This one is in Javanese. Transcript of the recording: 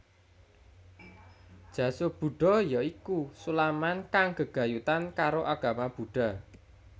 Jasu Buddha ya iku sulaman kang gegayutan karo agama Buddha